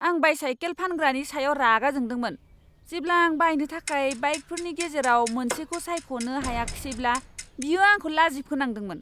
आं bicycle फानग्रानि सायाव रागा जोंदोंमोन जेब्ला आं बायनो थाखाय बाइकफोरनि गेजेराव मोनसेखौ सायख'नो हायाखिसैब्ला बियो आंखौ लाजि फोनांदोंमोन!